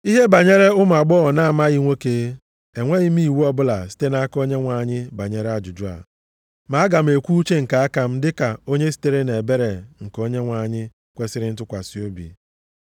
Ihe banyere ụmụ agbọghọ na-amaghị nwoke. Enweghị m iwu ọbụla site nʼaka Onyenwe anyị banyere ajụjụ a, ma aga m ekwu uche nke aka m dịka onye sitere nʼebere nke Onyenwe anyị kwesiri ntụkwasị obi.